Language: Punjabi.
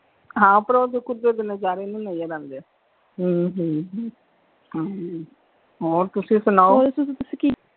ਹਾਂ ਪਰ ਉਹ ਤੇ ਕੁਦਰਤ ਦੇ ਨਜਾਰੇ ਨਹੀਂ ਨਜਰ ਆਉਂਦੇ ਹਮ ਹਮ ਹਾਂਜੀ ਹੋਰ ਤੁਸੀਂ ਸੁਣਾਓ ਹੋਰ ਦੱਸੋ ਤੁਸੀਂ ਕੀ?